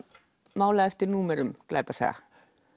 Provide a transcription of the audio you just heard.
málað eftir númerum glæpasaga